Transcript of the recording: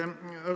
Aitäh!